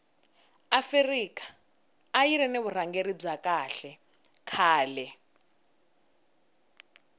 afika ayiri ni vurhangeri bya kahle khale